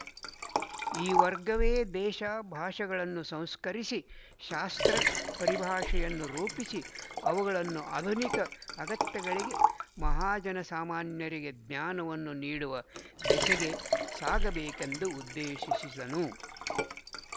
ಈ ವರ್ಗವೇ ದೇಶ ಭಾಷೆಗಳನ್ನು ಸಂಸ್ಕರಿಸಿ ಶಾಸ್ತ್ರ ಪರಿಭಾಷೆಯನ್ನು ರೂಪಿಸಿ ಅವುಗಳನ್ನು ಆಧುನಿಕ ಅಗತ್ಯಗಳಿಗೆ ಮಹಾಜನಸಾಮಾನ್ಯರಿಗೆ ಜ್ಞಾನವನ್ನು ನೀಡುವ ದೆಸೆಗೆ ಸಾಗಬೇಕೆಂದು ಉದ್ದೇಶಿಸಿದನು